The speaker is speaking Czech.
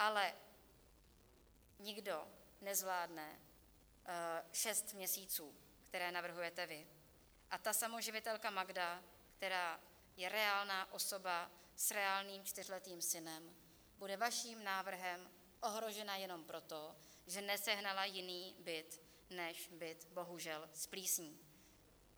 Ale nikdo nezvládne šest měsíců, které navrhujete vy, a ta samoživitelka Magda, která je reálná osoba s reálným čtyřletým synem, bude vaším návrhem ohrožena jen proto, že nesehnala jiný byt než byt bohužel s plísní.